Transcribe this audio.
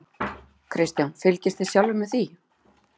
Kristján: Fylgist þið sjálfir með því?